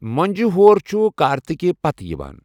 مۄنٛجہِ ہور چھؙ کارتِکہٕ پَتہٕ یِوان.